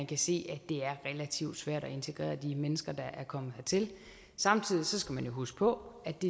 kan se at det er relativt svært at integrere de mennesker der er kommet hertil samtidig skal man jo huske på at det